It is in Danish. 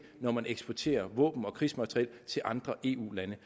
når man eksporterer våben og krigsmateriel til andre eu lande